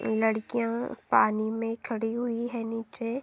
लड़किया पानी में खड़ी हुई है। नीचे --